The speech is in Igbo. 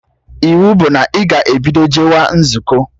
Iwu bụ na ị ga-ebido jewa nzukọ!